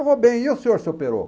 Eu vou bem, e o senhor, seu peroco?